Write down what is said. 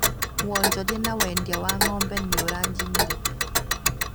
Wanjoria wa wendĩa wa ngo´mbe nĩ ũranjinire